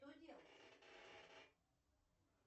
что делать